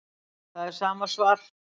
Það er sama svar